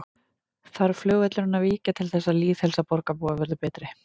Þarf flugvöllurinn að víkja til þess að lýðheilsa borgarbúa verði betri?